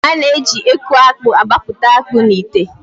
A na- eji eku akpụ agbapụta akpụ n'ite.